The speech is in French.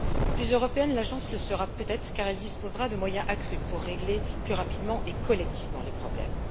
Plus européenne, l'Agence le sera peut être, car elle disposera de moyens accrus pour régler plus rapidement et collectivement les problèmes.